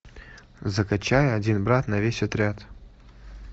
закачай один брат на весь отряд